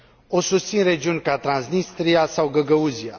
O susțin regiuni ca Transnistria sau Găgăuzia.